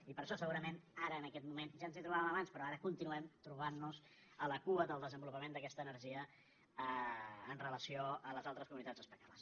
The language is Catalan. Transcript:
i per això segurament ara en aquest moment ja ens hi trobàvem abans però ara continuem trobant nos a la cua del desenvolupament d’aquesta energia amb relació a les altres comunitats espanyoles